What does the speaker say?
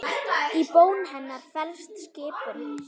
Í bón hennar felst skipun.